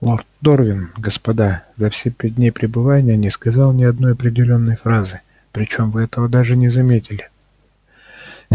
лорд дорвин господа за все пять дней пребывания не сказал ни одной определённой фразы причём вы этого даже не заметили